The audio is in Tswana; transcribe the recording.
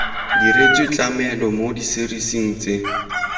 diretswe tlamelo mo diserising tse